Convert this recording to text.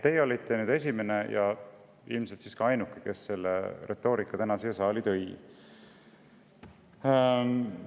Teie olite nüüd esimene ja ilmselt ka ainuke, kes selle retoorika siia saali tõi.